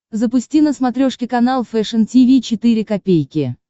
запусти на смотрешке канал фэшн ти ви четыре ка